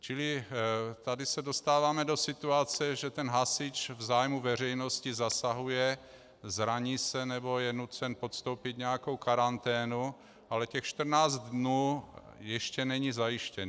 Čili tady se dostáváme do situace, že ten hasič v zájmu veřejnosti zasahuje, zraní se nebo je nucen podstoupit nějakou karanténu, ale těch 14 dnů ještě není zajištěn.